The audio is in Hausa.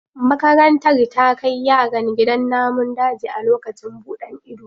Makarantar ta kai yaran gidan namun daji a lokacin buɗan ido.